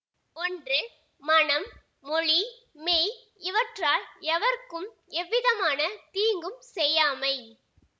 ஒன்று மனம் மொழி மெய் இவற்றால் எவர்க்கும் எவ்விதமான தீங்கும் செய்யாமை